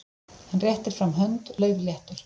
Hann réttir fram hönd, laufléttur.